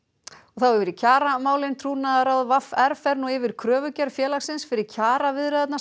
þá yfir í kjaramálin trúnaðarráð v r fer nú yfir kröfugerð félagsins fyrir kjaraviðræðurnar